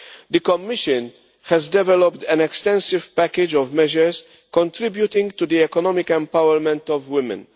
The Commission has developed an extensive package of measures contributing to the economic empowerment of women.